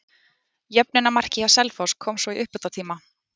Jöfnunarmarkið hjá Selfoss kom svo í uppbótartíma.